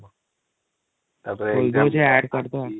ତାପରେ add କରିଦବା |